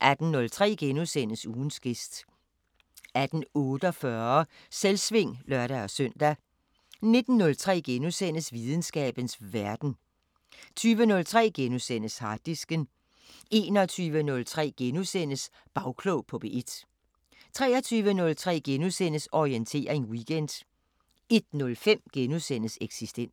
18:03: Ugens gæst * 18:48: Selvsving (lør-søn) 19:03: Videnskabens Verden * 20:03: Harddisken * 21:03: Bagklog på P1 * 23:03: Orientering Weekend * 01:05: Eksistens *